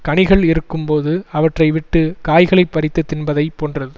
கனிகள் இருக்கும் போது அவற்றை விட்டு காய்களை பறித்து தின்பதைப் போன்றது